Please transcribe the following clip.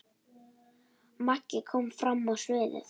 Maggi kom fram á sviðið.